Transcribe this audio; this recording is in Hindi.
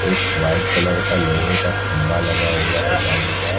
एक वाइट कलर का लोहे का खंभा लगा हुआ है जालीदार।